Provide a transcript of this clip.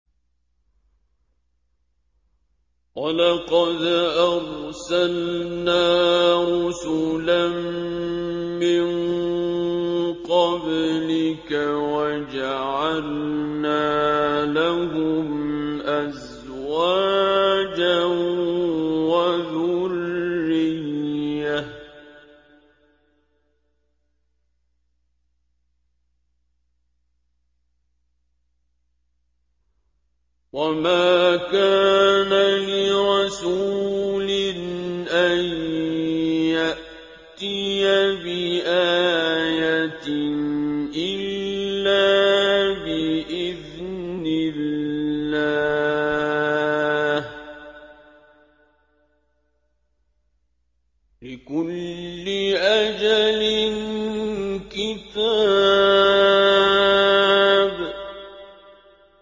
وَلَقَدْ أَرْسَلْنَا رُسُلًا مِّن قَبْلِكَ وَجَعَلْنَا لَهُمْ أَزْوَاجًا وَذُرِّيَّةً ۚ وَمَا كَانَ لِرَسُولٍ أَن يَأْتِيَ بِآيَةٍ إِلَّا بِإِذْنِ اللَّهِ ۗ لِكُلِّ أَجَلٍ كِتَابٌ